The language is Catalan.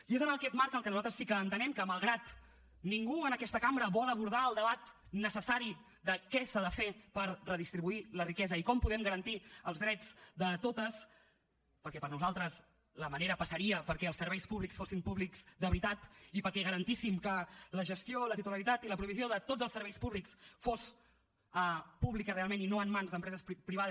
i és en aquest marc en què nosaltres sí que entenem que malgrat que ningú en aquesta cambra vol abordar el debat necessari de què s’ha de fer per redistribuir la riquesa i com podem garantir els drets de totes perquè per nosaltres la manera passaria perquè els serveis públics fossin públics de veritat i perquè garantíssim que la gestió la titularitat i la provisió de tots els serveis públics fos pública realment i no en mans d’empreses privades